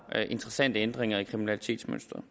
interessante ændringer i kriminalitetsmønsteret